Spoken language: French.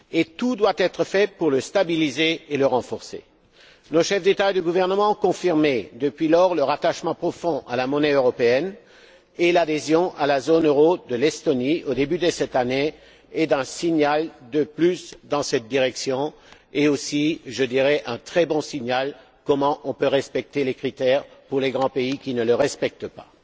Tout doit être fait pour le stabiliser et le renforcer. Nos chefs d'État et de gouvernement ont confirmé, depuis lors, leur attachement profond à la monnaie européenne et l'adhésion à la zone euro de l'Estonie, au début de cette année, est un signal de plus dans cette direction et également un très bon exemple de la manière de respecter les critères pour les grands pays qui ne les respectent pas.